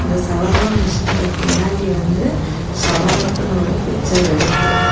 இந்த ஷாவார்மா மிஷினிக்கு பின்னாடி வந்து ஷேவன் அப் னு ஒரு பிச்சர் இருக்கு.